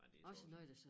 Men det så også